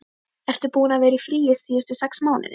Ertu búinn að vera í fríi síðustu sex mánuði?